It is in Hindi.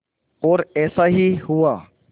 और ऐसा ही हुआ